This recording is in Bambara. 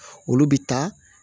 Olu bi taa